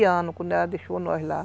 treze anos, quando ela deixou nós lá.